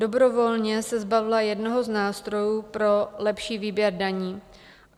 Dobrovolně se zbavila jednoho z nástrojů pro lepší výběr daní.